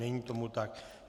Není tomu tak.